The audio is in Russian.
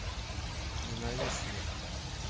ненавистный